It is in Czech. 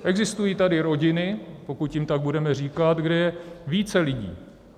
Existují tady rodiny, pokud jim tak budeme říkat, kde je více lidí.